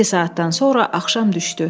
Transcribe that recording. İki saatdan sonra axşam düşdü.